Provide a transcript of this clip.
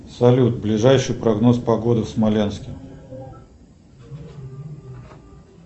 салют ближайший прогноз погоды в смоленске